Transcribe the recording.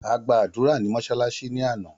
A gbàdúrà ní mọ́sálásí ní àná